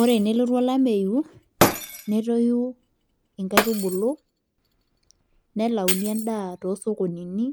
Ore enelotu olameyu netoyu inkaitubulu nelauni endaa tosokonini